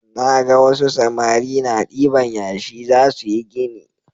Naga wasu samari na diban yashi zasuyi gini